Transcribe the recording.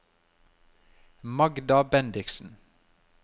Magda Bendiksen